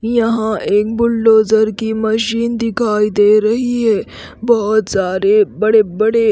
यहां एक बुलडोजर की मशीन दिखाई दे रही है बहुत सारे बड़े-बड़े--